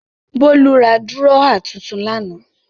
Bólú ra dúrọ́à tuntun lánàá.